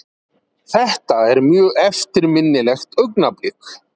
Þetta er mjög eftirminnilegt augnablik.